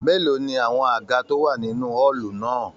Mélòó ní àwọn àga to wà nínú ọọlu náà?